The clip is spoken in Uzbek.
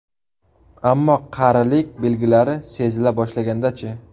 Ammo qarilik belgilari sezila boshlaganda-chi?